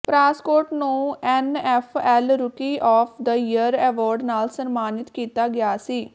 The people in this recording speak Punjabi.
ਪ੍ਰਾਸਕੌਟ ਨੂੰ NFL rookie of the year award ਨਾਲ ਸਨਮਾਨਿਤ ਕੀਤਾ ਗਿਆ ਸੀ